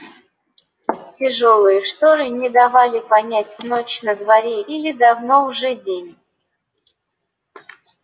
тяжёлые шторы не давали понять ночь на дворе или давно уже день